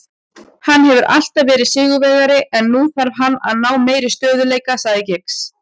Hann hefur alltaf verið sigurvegari en nú þarf hann að ná meiri stöðugleika, sagði Giggs.